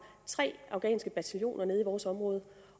tre afghanske bataljoner nede i vores område